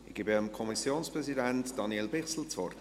Ich gebe dem Kommissionspräsidenten, Daniel Bichsel, das Wort.